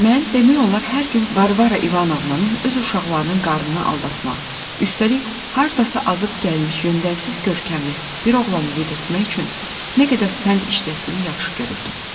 Mən demək olar hər gün Varvara İvanovnanın öz uşaqlarının qarnını aldatmaq, üstəlik hardasa azıb gəlmiş yöndəmsiz görkəmli bir oğlanı yedirtmək üçün nə qədər fənd işlətdiyini yaxşıca görürdüm.